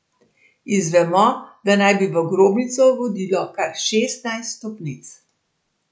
Izvemo, da naj bi v grobnico vodilo kar šestnajst stopnic.